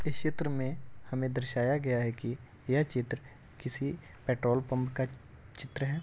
इस चित्र में हमें दर्शाया गया है कि यह चित्र किसी पेट्रोल पंप का चित्र है।